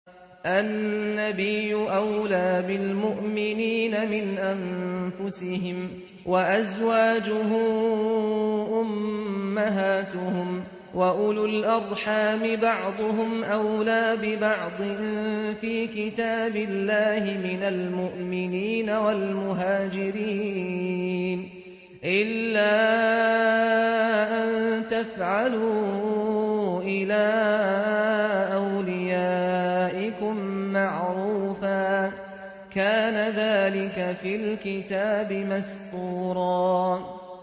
النَّبِيُّ أَوْلَىٰ بِالْمُؤْمِنِينَ مِنْ أَنفُسِهِمْ ۖ وَأَزْوَاجُهُ أُمَّهَاتُهُمْ ۗ وَأُولُو الْأَرْحَامِ بَعْضُهُمْ أَوْلَىٰ بِبَعْضٍ فِي كِتَابِ اللَّهِ مِنَ الْمُؤْمِنِينَ وَالْمُهَاجِرِينَ إِلَّا أَن تَفْعَلُوا إِلَىٰ أَوْلِيَائِكُم مَّعْرُوفًا ۚ كَانَ ذَٰلِكَ فِي الْكِتَابِ مَسْطُورًا